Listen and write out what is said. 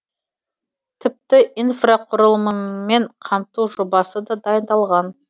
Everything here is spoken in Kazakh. тіпті инфрақұрылыммен қамту жобасы да дайындалған